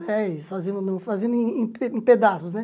Dez, fazendo em fazendo em em pedaços, né?